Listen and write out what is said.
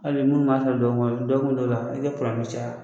Hali minnu b'a fara dɔgɔkun kɔnɔ dɔgɔkun dɔw la i tɛ kalandenw caya.